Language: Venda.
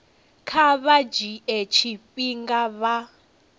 kha vha dzhie tshifhinga vha